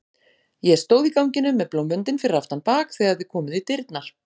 Ég stóð í ganginum með blómvöndinn fyrir aftan bak þegar þið komuð í dyrnar.